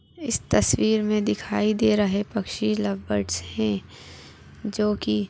इस तस्वीर मे दिखाई दे रहे पक्षी लव बर्ड्स हैं जो की--